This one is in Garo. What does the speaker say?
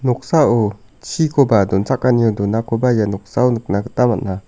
noksao chikoba donchakanio donakoba ia noksao nikna gita man·a.